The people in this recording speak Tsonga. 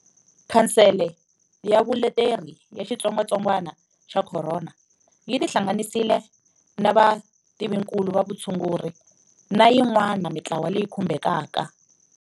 Khansele ya Vuleteri ya Xitsongwantsongwana xa Corona yi tihlanganisile na vativinkulu va vutshunguri na yin'wana mitlawa leyi khumbhekaka.